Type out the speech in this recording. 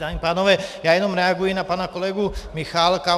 Dámy a pánové, já jenom reaguji na pana kolegu Michálka.